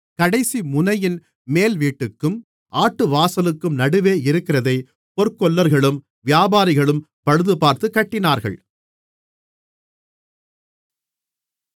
கடைசிமுனையின் மேல்வீட்டுக்கும் ஆட்டுவாசலுக்கும் நடுவே இருக்கிறதை பொற்கொல்லர்களும் வியாபாரிகளும் பழுதுபார்த்துக் கட்டினார்கள்